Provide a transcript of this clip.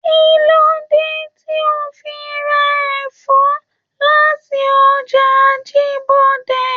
Kilode tí o fi ra ẹfọ láti ọjà Ajibọde?